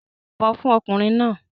Yìnbọn fún ọkùnrin náà!